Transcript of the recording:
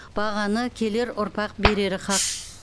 бағаны келер ұрпақ берері хақ